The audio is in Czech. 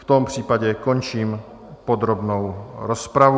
V tom případě končím podrobnou rozpravu.